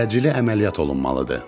Təcili əməliyyat olunmalıdır.